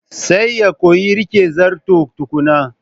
Sai ya koyi rike Zarton tukunna.